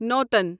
نوٗتَن